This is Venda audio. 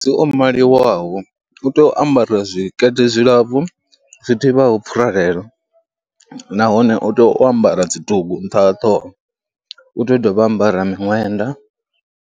Mufumakadzi o maliwaho u tea u ambara zwikete zwilapfhu zwi thihaho pfhuralelo nahone u tea u ambara dzi bugu nṱha ha ṱhoho, u tea u dovha a ambara miṅwenda.